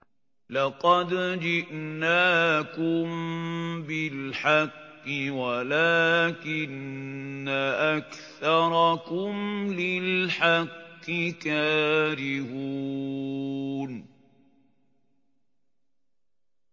لَقَدْ جِئْنَاكُم بِالْحَقِّ وَلَٰكِنَّ أَكْثَرَكُمْ لِلْحَقِّ كَارِهُونَ